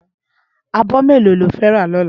Ábò méló ló fè rá lòlá?